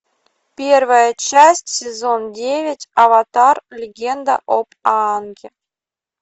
первая часть сезон девять аватар легенда об аанге